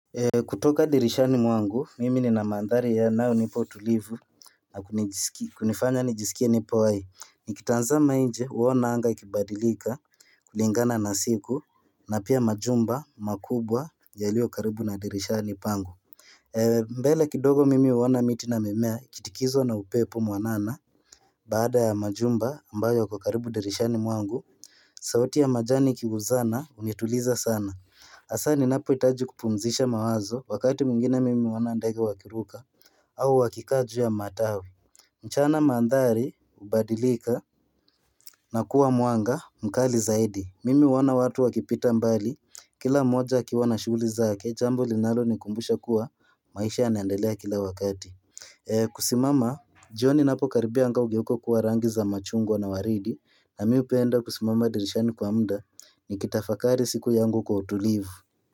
Kutoka dirishani mwangu mimi nina mandhari ya nayonipa utulivu na kunifanya nijisikie nipo hai nikitazama nje uona anga ikibadilika kulingana na siku na pia majumba makubwa yaliyo karibu na dirishani pangu mbele kidogo mimi huona miti na mimea ikitikiswa na upepo mwanana baada ya majumba ambayo kwa karibu dirishani mwangu sauti ya majani ikigusana unituliza sana hasa ninapo hitaji kupumzisha mawazo wakati mwingine mimi huona ndege wakiruka au wakika juu ya matawi mchana maandhari hubadilika na kuwa mwanga mkali zaidi mimi huwaona watu wakipita mbali Kila mmoja akiwa na shughuli zake jambo linalo ni kumbusha kuwa maisha yanaendelea kila wakati kusimama, jioni inapo karibia anga ugeuka kuwarangi za machungwa na waridi na mimi hupenda kusimama dirishani kwa muda ni kitafakari siku yangu kwa utulivu.